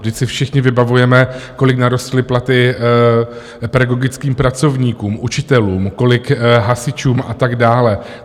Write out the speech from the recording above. Vždyť si všichni vybavujeme, kolik narostly platy pedagogickým pracovníkům, učitelům, kolik hasičům a tak dále.